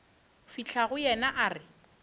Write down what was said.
fihla go yena a re